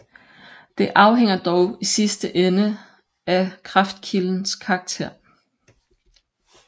Det afhænger dog i sidste ende af kraftkildens karakter